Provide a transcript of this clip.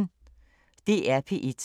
DR P1